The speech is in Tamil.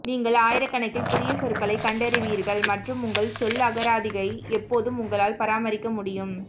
நீங்கள் ஆயிரக்கணக்கில் புதிய சொற்களைக் கண்டறிவீர்கள் மற்றும் உங்கள் சொல்லகராதியை எப்போதும் உங்களால் பராமரிக்க முடியும்